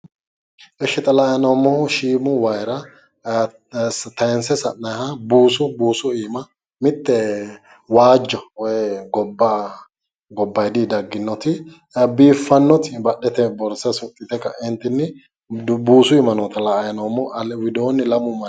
Eshshi xa la"ayi noommohu shiimu wayiira tayiinse sa'nayiiha buusu buusu iima mitte waajjo woy gobbaayiidi dagginoti biiffannoti badhete borsa suxxite ka'entinni buusu iima la"ayi noommo widoonni lamu manni no.